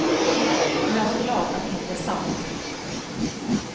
Och jag är så glad att det inte är sant.